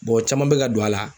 caman be ka don a la